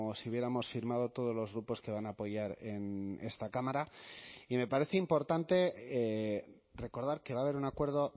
si hubiéramos firmado todos los grupos que van a apoyar en esta cámara y me parece importante recordar que va a haber un acuerdo